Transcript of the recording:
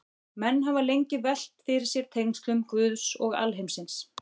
Menn hafa lengi velt fyrir sér tengslum Guðs og alheimsins.